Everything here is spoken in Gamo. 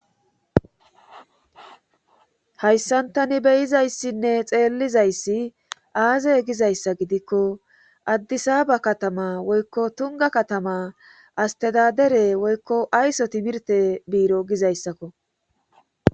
Hayssantani beyizayssinne xeellizayssi aaze gizayssa gidikko addisaba katama woykko tunga katama astedadere woykko ayso timirte biiro gizayssakko